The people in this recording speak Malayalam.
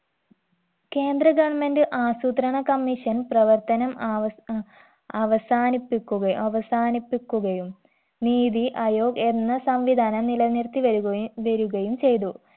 കേന്ദ്ര government ആസൂത്രണ commission പ്രവർത്തനം ആവസ്‌ അഹ് അവസാനിപ്പിക്കുകയു അവസാനിപ്പിക്കുകയും നീതി അയോഗ് എന്ന സംവിധാനം നിലനിർത്തി വരുകയു വരുകയും ചെയ്തു